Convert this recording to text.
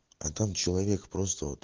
а там человек просто вот